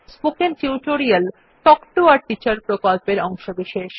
spoken tutorial talk to a teacher প্রকল্পের অংশবিশেষ